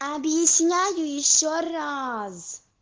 объясняю ещё раз